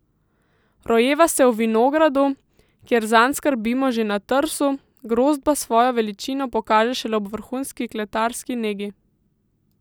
Rojeva se v vinogradu, kjer zanj skrbimo že na trsu, grozd pa svojo veličino pokaže šele ob vrhunski kletarski negi.